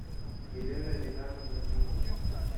елена ринатовна минина